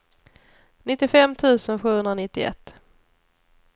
nittiofem tusen sjuhundranittioett